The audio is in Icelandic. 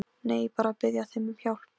Nei, bara að biðja þig um hjálp.